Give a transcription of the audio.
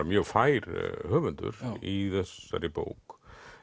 mjög fær höfundur í þessari bók